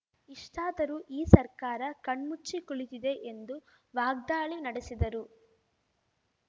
ಇಷ್ಟಾದರೂ ಈ ಸರ್ಕಾರ ಕಣ್ಮುಚ್ಚಿ ಕುಳಿತಿದೆ ಎಂದು ವಾಗ್ದಾಳಿ ನಡೆಸಿದರು